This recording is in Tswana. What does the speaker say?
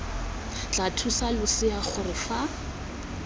tla thusa losea gore fa